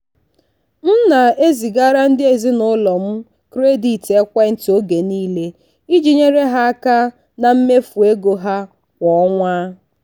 m na-ezigara ndị ezinụlọ m kredit ekwentị oge niile iji nyere ha aka na mmefu ego ha kwa ọnwa.